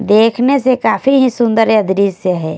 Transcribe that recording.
देखने से काफी ही सुंदर ये दृश्य है।